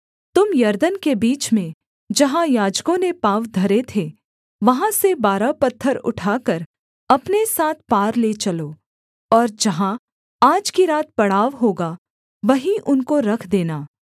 तुम यरदन के बीच में जहाँ याजकों ने पाँव धरे थे वहाँ से बारह पत्थर उठाकर अपने साथ पार ले चलो और जहाँ आज की रात पड़ाव होगा वहीं उनको रख देना